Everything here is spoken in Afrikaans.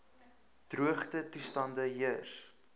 droogte toestande heers